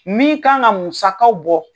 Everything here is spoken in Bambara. Min kan ka musakaw bɔ